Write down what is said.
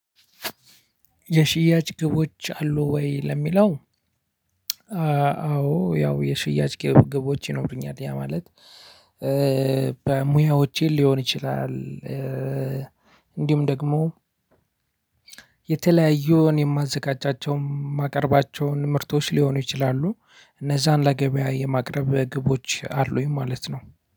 የሽያጭ ግቦች አሉ ወይ? ለሚለው እ አዎ ያው የሽያጭ ግቦች ይኖሩኛል ያ ማለት እ በ ሞያዎቼን ሊሆን ይችላል። እ እንዲሁም ደግሞ። የተለያዩ እኔ የማዘጋጃቸው የማቀርባቸው ምርቶች ሊሆኑ ይችላሉ እነዛን ለገበያ የማቅረብ ግቦች አሉኝ ማለት ነው።